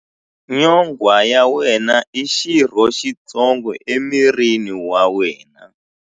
Nyonghwa ya wena i xirho xitsongo emirini wa wena.